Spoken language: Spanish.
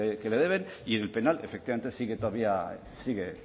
que le deben y en el penal efectivamente sigue todavía sigue